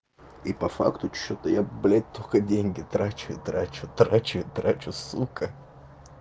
и по факту что-то я блять только деньги трачу и трачу трачу и трачу сука